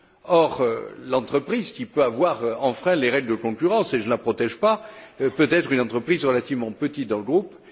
Or, l'entreprise qui peut avoir enfreint les règles de concurrence, et je ne la protège pas, peut être une entreprise relativement petite dans le groupe.